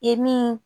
I min